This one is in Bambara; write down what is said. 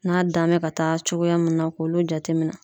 N'a dan bɛ ka taa cogoya mun na k'olu jateminɛ.